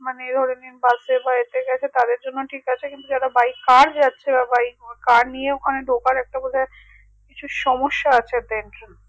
মানে এই ধরেনিন বাসে বা এতে গেছে তাদের জন্য ঠিক আছে কিন্তু যারা by car যাচ্ছে বা car নিয়ে ঢোকার একটা বোধাই কিছু সম্যসা আছে